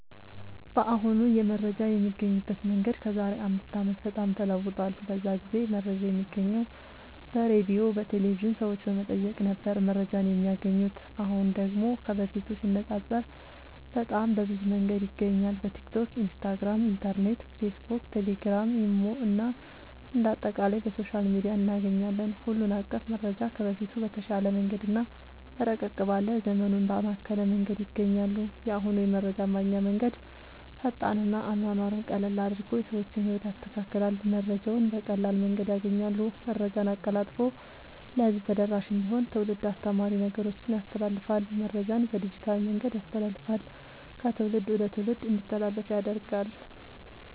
በአሁኑ የመረጃ የሚገኝበት መንገድ ከዛሬ አምስት አመት በጣም ተለውጧል። በዛ ጊዜ መረጃ የሚገኘው በሬድዮ፣ በቴሌቭዥን፣ ሰዎች በመጠየቅ ነበር መረጃን የማያገኙት። አሁን ደግሞ ከበፊቱ ሲነፃፀር በጣም በብዙ መንገድ ይገኛል በቲክቶክ፣ ኢንስታግራም፣ ኢንተርኔት፣ ፌስብክ፣ ቴሌግራም፣ ኢሞ እና አንደ አጠቃላይ በሶሻል ሚዲያ እናገኛለን ሁሉን አቀፍ መረጃ ከበፊቱ በተሻለ መንገድ እና ረቀቅ ባለ ዘመኑን ባማከለ መንገድ ያገኛሉ። የአሁኑ የመረጃ ማግኛ መንገድ ፈጣን እና አኗኗሩን ቀለል አድርጎ የሰዎችን ህይወት ያስተካክላል መረጃውን በቀላል መንገድ ያገኛሉ። መረጃን አቀላጥፎ ለህዝብ ተደራሽ እንዲሆን ትውልድ አስተማሪ ነገሮችን ያስተላልፍል። መረጃን በዲጂታል መንገድ ያስተላልፍል ከትውልድ ወደ ትውልድ እንዲተላለፍ ያደርጋል…ተጨማሪ ይመልከቱ